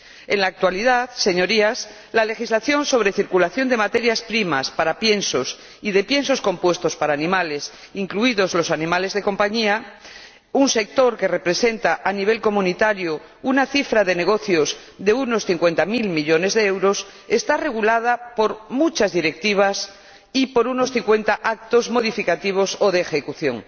En la actualidad, señorías, la legislación sobre circulación de materias primas para piensos y de piensos compuestos para animales, incluidos los animales de compañía, —un sector que representa a nivel comunitario una cifra de negocios de unos cincuenta mil millones de euros— está regulada por muchas directivas y por unos 50 actos modificativos o de ejecución.